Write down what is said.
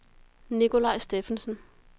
Nikolaj Steffensen